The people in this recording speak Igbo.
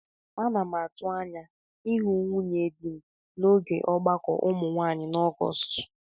Ana m atụ anya ịhụ nwunye dị n'oge ọgbakọ ụmụ nwaanyị na Ọgọọst.